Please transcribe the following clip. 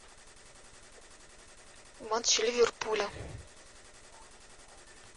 матч ливерпуля